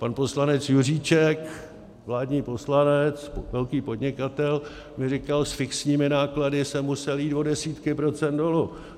Pan poslanec Juříček, vládní poslanec, velký podnikatel, mi říkal: S fixními náklady jsem musel jít o desítky procent dolů.